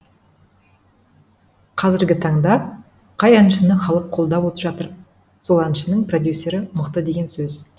қазіргі таңда қай әншіні халық қолдап жатыр сол әншінің продюссері мықты деген сөз